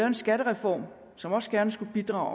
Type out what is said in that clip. en skattereform som også gerne skulle bidrage